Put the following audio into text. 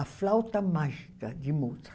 A flauta mágica de Mozart.